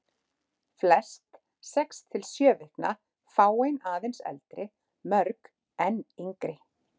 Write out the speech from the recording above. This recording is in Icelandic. Flest sex til sjö vikna, fáein aðeins eldri, mörg enn yngri.